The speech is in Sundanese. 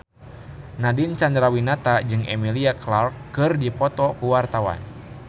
Nadine Chandrawinata jeung Emilia Clarke keur dipoto ku wartawan